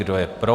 Kdo je pro?